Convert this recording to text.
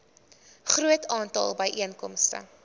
groot aantal byeenkomste